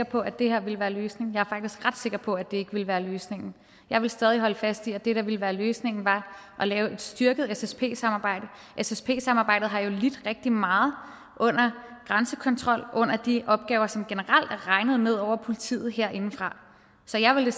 på at det her ville være løsningen jeg er faktisk ret sikker på at det ikke ville være løsningen jeg vil stadig holde fast i at det der ville være løsningen var at lave et styrket ssp samarbejde ssp samarbejdet har jo lidt rigtig meget under grænsekontrollen og under de opgaver som generelt er regnet ned over politiet herindefra så jeg ville